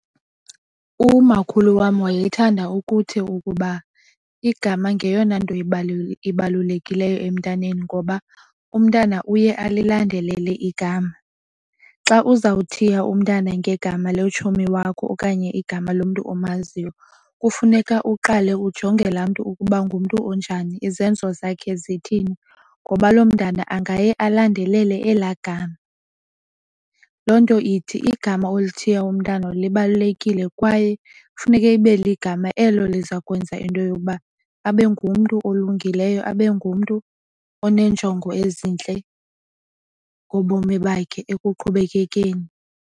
Umakhulu wam wayethanda ukuthi ukuba igama ngeyona nto ibalulekileyo emntaneni ngoba umntana uye alilandelele igama. Xa uzawuthiya umntana ngegama letshomi wakho okanye igama lomntu omaziyo kufuneka uqale ujonge la mntu ukuba ngumntu onjani, izenzo zakhe zithini ngoba lo mntana angaya alandelele ela gama. Loo nto ithi igama oluthiya umntana libalulekile kwaye funeke ibe ligama elo liza kwenza into yokuba abe ngumntu olungileyo abe ngumntu oneenjongo ezintle ngobomi bakhe ekuqhubekekeni.